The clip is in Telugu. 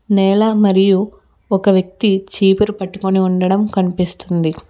నేల మరియు ఒక వ్యక్తి చీపురు పట్టుకుని ఉండడం కనిపిస్తుంది.